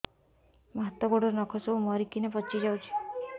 ମୋ ହାତ ଗୋଡର ନଖ ସବୁ ମରିକିନା ପଚି ଯାଉଛି